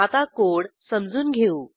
आता कोड समजून घेऊ